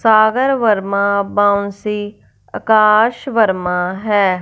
सागर वर्मा बाउंसी अकाश वर्मा है।